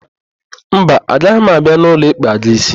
Mba, agaghị m abịa n'ụlọ ịkpa gị ísí.